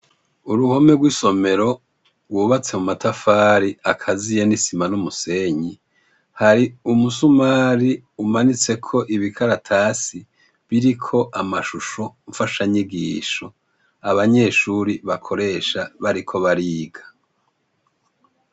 Uruhome rw'isomero rwubatswe mu matafari akaziye mw'isima n'umusenyi, hari umusumari umanitseko ibikaratasi biriko amashusho mfashanyigisho, abanyeshure bakoresha bariko bariga.